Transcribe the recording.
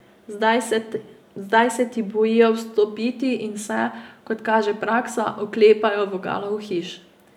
Zdaj se ti bojijo vstopiti in se, kot kaže praksa, oklepajo vogalov hiš.